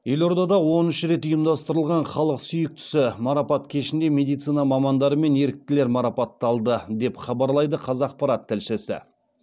елордада оныншы рет ұйымдастырылған халық сүйіктісі марапат кешінде медицина мамандары мен еріктілер марапатталды деп хабарлайды қазақпарат тілшісі